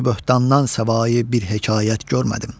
Kisbi böhtandan səvayi bir hekayət görmədim.